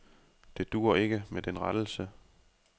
Det duer ikke med den rettelse.